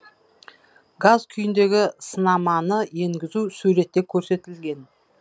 газ күйіндегі сынаманы енгізу суретте көрсетілген